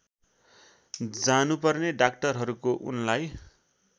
जानुपर्ने डाक्टरहरूको उनलाई